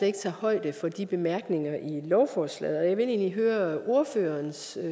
ikke tager højde for de bemærkninger i lovforslaget jeg vil egentlig høre ordføreren ser